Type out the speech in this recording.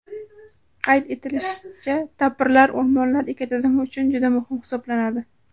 Qayd etilishicha, tapirlar o‘rmonlar ekotizimi uchun juda muhim hisoblanadi.